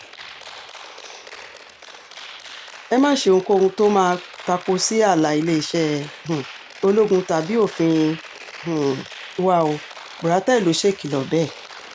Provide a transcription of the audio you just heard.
ẹ má ṣe ohunkóhun tó máa tapo sí ààlà iléeṣẹ́ um ológun tàbí òfin ilé um wa ò buratai ló ṣèkìlọ̀ bẹ́ẹ̀